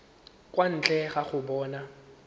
kwa ntle ga go bona